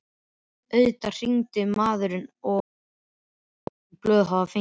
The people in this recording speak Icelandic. Auðvitað hringirðu maður og segist engin blöð hafa fengið!